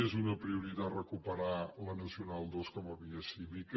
és una prioritat recuperar la nacional ii com a via cívica